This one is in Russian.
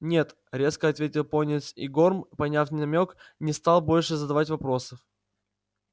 нет резко ответил пониетс и горм поняв намёк не стал больше задавать вопросов